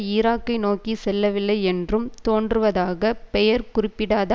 ஈராக்கை நோக்கி செல்லவில்லை என்றும் தோன்றுவதாக பெயர் குறிப்பிடாத